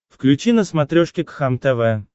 включи на смотрешке кхлм тв